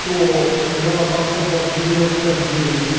то наверное процентов девяносто девять